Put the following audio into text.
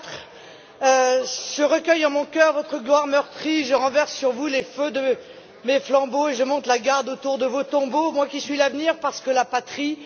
4. Je recueille en mon cœur votre gloire meurtrie, Je renverse sur vous les feux de mes flambeaux Et je monte la garde autour de vos tombeaux, Moi qui suis l'avenir, parce que la Patrie.